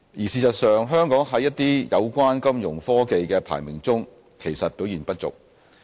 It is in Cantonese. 事實上，香港在一些有關金融科技的排名中其實表現不俗。